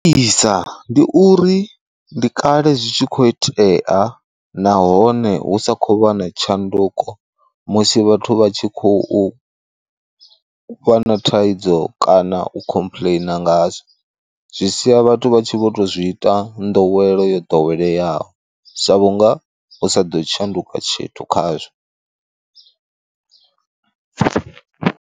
Isa ndi uri ndi kale zwi tshi kho itea nahone hu sa khou vha na tshanduko musi vhathu vha tshi khou fha na thaidzo kana u khomplaina ngazwo, zwi sia vhathu vha tshi vho to zwi ita nḓowelo yo ḓoweleyaho sa vhunga usa ḓo shanduka tshithu khazwo.